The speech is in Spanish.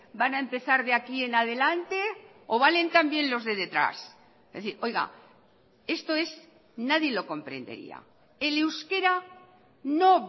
van a empezar de aquí en adelante o valen también los de detrás es decir esto es nadie lo comprendería el euskera no